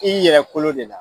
I y'i yɛrɛ kolo de la.